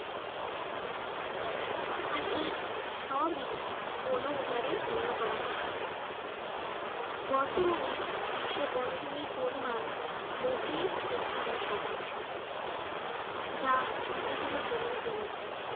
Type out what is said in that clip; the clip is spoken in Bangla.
আর এই সবই বন উজারের অন্যতম কারন বর্তমানে বিশ্বে বনভূমির পরিমাণ মোটে একত্রিশ শতাংশঅ যা ধীরে ধীরে কমেই চলেছে।